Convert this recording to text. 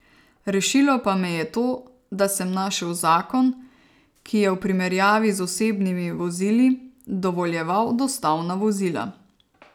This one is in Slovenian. Rešilo pa me je to, da sem našel zakon, ki je, v primerjavi z osebnimi vozili, dovoljeval dostavna vozila.